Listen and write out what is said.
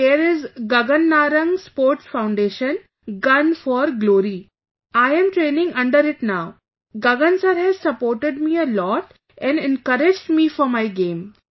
So there's Gagan Narang Sports Foundation, Gun for Glory... I am training under it now... Gagan sir has supported me a lot and encouraged me for my game